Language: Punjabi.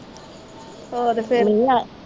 ਹੋਰ ਫੇਰ